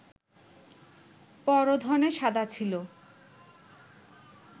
পর ধনে সদা ছিল